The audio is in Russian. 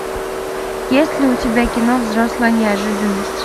есть ли у тебя кино взрослая неожиданность